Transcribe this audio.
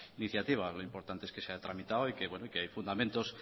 iniciativa lo importante es que se ha tramitado y que hay fundamentos